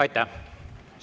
Aitäh!